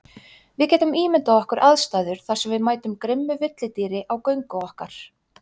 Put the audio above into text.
Við getum ímyndað okkar aðstæður þar sem við mætum grimmu villidýri á göngu okkar.